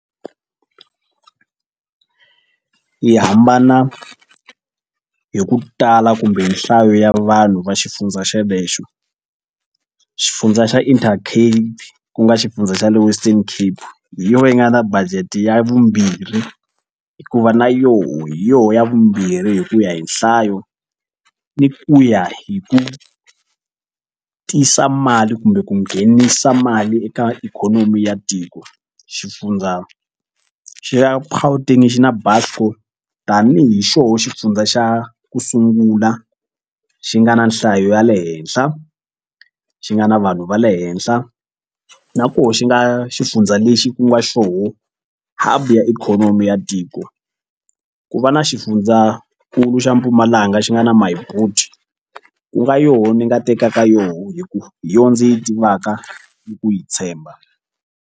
Yi hambana hi ku tala kumbe nhlayo ya vanhu va xifundza xelexo xifundza xa Intercape ku nga xifundza xa le Western Cape hi yona yi nga na budget ya vumbirhi hikuva na yo hi yoho ya vumbirhi hi ku ya hi nhlayo ni ku ya hi ku tisa mali kumbe ku nghenisa mali eka ikhonomi ya tiko. Xifundza xa Gauteng xi na Buscor tanihi xo xifundza xa ku sungula xi nga na nhlayo ya le henhla xi nga na vanhu va le henhla na koho xi nga xifundza lexi ku nga xo ya ikhonomi ya tiko ku va na xifundzankulu xa Mpumalanga xi nga na Myboet ku nga yoho ni nga tekaka yona hikuva hi yona ndzi yi tivaka ni ku yi tshemba.